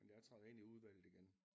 Men jeg træder ind i udvalget igen